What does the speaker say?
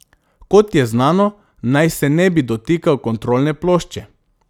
Kot je znano, naj se ne bi dotikal kontrolne plošče.